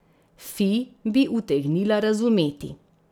Fi bi utegnila razumeti.